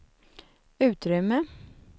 utrymme